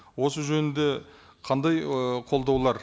осы жөнінде қандай ы қолдаулар